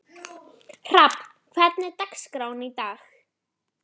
Hrafn, hvernig er dagskráin í dag?